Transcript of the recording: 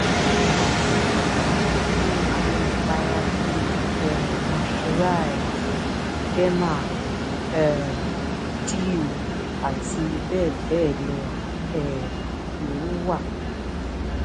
onírúurú àwọn ìpara bíi um moisturize derma um dew àti bẹ́ẹ̀bẹ́ẹ̀ um lọ ló wa